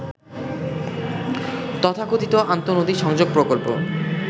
তথাকথিত আন্তঃনদী সংযোগ প্রকল্প